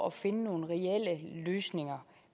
at finde nogle reelle løsninger